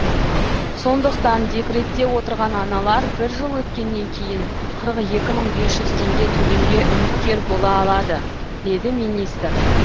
сондықтан декретте отырған аналар бір жыл өткеннен кейін қырық екі мың бес жүз теңге төлемге үміткер бола алады деді министр